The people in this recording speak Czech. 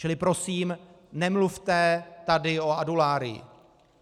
Čili prosím, nemluvte tady o Adularyi.